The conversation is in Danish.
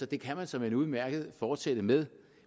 det kan man såmænd udmærket fortsætte med